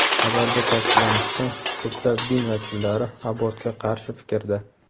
Xabarda ta’kidlanishicha, ko‘plab din vakillari abortga qarshi fikrda.